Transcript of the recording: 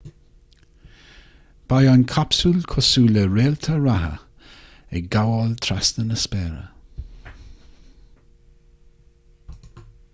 beidh an capsúl cosúil le réalta reatha ag gabháil trasna na spéire